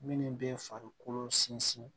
Minnu bɛ farikolo sinsin